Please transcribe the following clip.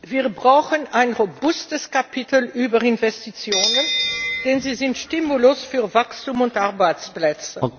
Wir brauchen ein robustes Kapitel über Investitionen, denn sie sind Stimulus für Wachstum und Arbeitsplätze.